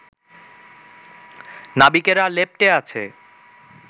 নাবিকেরা লেপ্টে আছে